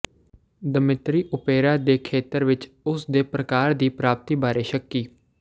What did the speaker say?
Dmitri opera ਦੇ ਖੇਤਰ ਵਿਚ ਉਸ ਦੇ ਪ੍ਰਕਾਰ ਦੀ ਪ੍ਰਾਪਤੀ ਬਾਰੇ ਸ਼ੱਕੀ